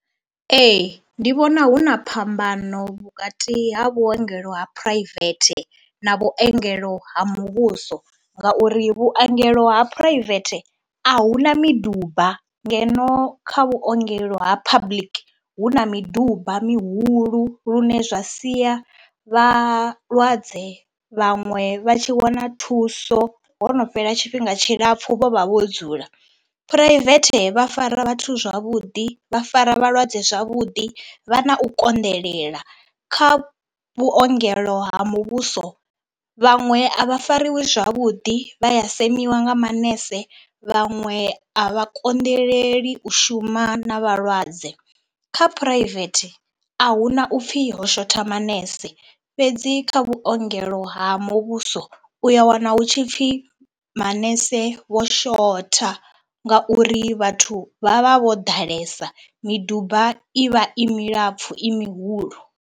Ee ndi vhona hu na phambano vhukati ha vhuongelo ha phuraivethe na vhuongelo ha muvhuso ngauri vhuongelo ha phuraivethe a hu na miduba ngeno kha vhuongelo ha public hu na miduba mihulu lune zwa sia vhalwadze vhaṅwe vha tshi wana thuso ho no fhela tshifhinga tshilapfhu vho vha vho dzula. Phuraivethe vha fara vhathu zwavhuḓi, vha fara vhalwadze zwavhuḓi, vha na u konḓelela. Kha vhuongelo ha muvhuso vhaṅwe a vha fariwi zwavhuḓi, vha ya semiwa nga manese, vhaṅwe a vha konḓeleli u shuma na vhalwadze. Kha V a hu na u pfhi ho shotha manese fhedzi kha vhuongelo ha muvhuso u ya wana hu tshi pfhi manese wo shotha ngauri vhathu vha vha vho ḓalesa, miduba i vha i milapfhu i mihulu.